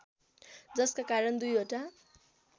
जसका कारण दुईवटा